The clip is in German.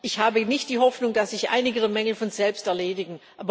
Ich habe nicht die Hoffnung, dass sich einige Mängel von selbst erledigen.